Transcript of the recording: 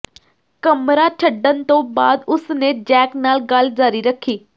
ਕਮਰਾ ਛੱਡਣ ਤੋਂ ਬਾਅਦ ਉਸਨੇ ਜੈਕ ਨਾਲ ਗੱਲ ਜਾਰੀ ਰੱਖੀ